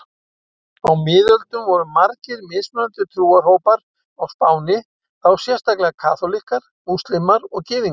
Á miðöldum voru margir mismunandi trúarhópar á Spáni, þá sérstaklega kaþólikkar, múslímar og gyðingar.